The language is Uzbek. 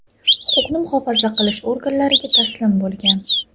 huquqni muhofaza qilish organlariga taslim bo‘lgan.